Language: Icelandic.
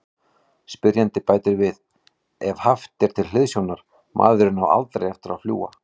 Spyrjandi bætir við: Ef haft er til hliðsjónar:.maðurinn á ALDREI eftir að fljúga.